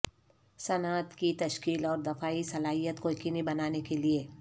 صنعت کی تشکیل اور دفاعی صلاحیت کو یقینی بنانے کے